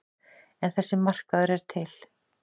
En þessi markaður er til.